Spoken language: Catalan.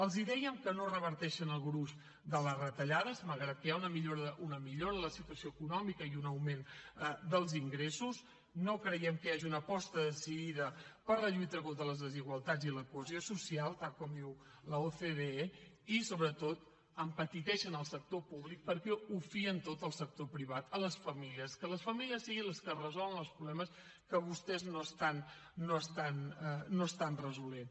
els dèiem que no reverteixen el gruix de les retallades malgrat que hi ha una millora en la situació econòmica i un augment dels ingressos no creiem que hi hagi una aposta decidida per la lluita contra les desigualtats i per la cohesió social tal com diu l’ocde i sobretot empetiteixen el sector públic perquè ho fien tot al sector privat a les famílies que les famílies siguin les que resolen els problemes que vostès no estan resolent